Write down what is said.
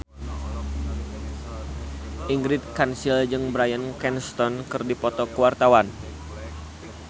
Ingrid Kansil jeung Bryan Cranston keur dipoto ku wartawan